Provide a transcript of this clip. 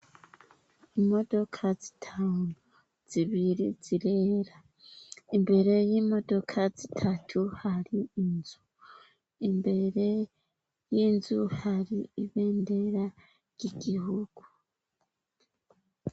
imodoka zitanu zibiri zirera imbere y'imodoka zitatu hari inzu imbere y'inzu hari ibendera ry'igihugu